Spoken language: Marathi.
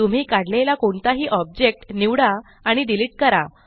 तुम्ही काढलेला कोणताही ऑब्जेक्ट निवडा आणि डिलीट करा